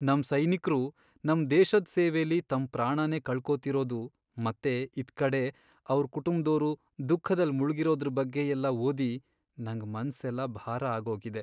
ನಮ್ ಸೈನಿಕ್ರು ನಮ್ ದೇಶದ್ ಸೇವೆಲಿ ತಮ್ ಪ್ರಾಣನೇ ಕಳ್ಕೋತಿರೋದು ಮತ್ತೆ ಇತ್ಕಡೆ ಅವ್ರ್ ಕುಟುಂಬ್ದೋರು ದುಃಖದಲ್ ಮುಳ್ಗಿರೋದ್ರ್ ಬಗ್ಗೆಯೆಲ್ಲ ಓದಿ ನಂಗ್ ಮನ್ಸೆಲ್ಲ ಭಾರ ಆಗೋಗಿದೆ.